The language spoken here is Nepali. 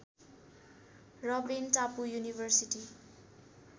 रबेन टापु युनिभर्सिटी